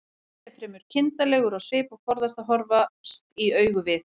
Doddi er fremur kindarlegur á svip og forðast að horfast í augu við